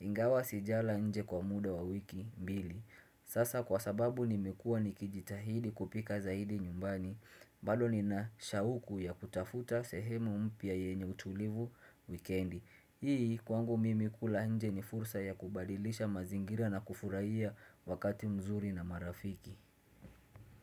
Ingawa sijala nje kwa muda wa wiki mbili Sasa kwa sababu nimekuwa nikijitahidi kupika zaidi nyumbani balldo nina shauku ya kutafuta sehemu mpya yenye utulivu wikendi. Hii kwangu mimi kula nje ni fursa ya kubadilisha mazingira na kufurahia wakati mzuri na marafiki.